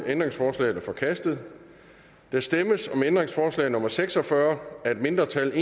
ændringsforslaget er forkastet der stemmes om ændringsforslag nummer seks og fyrre af et mindretal